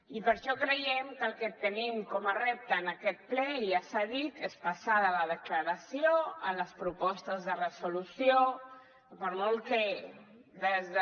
i per això creiem que el que tenim com a repte en aquest ple ja s’ha dit és passar de la declaració a les propostes de resolució que per molt que des de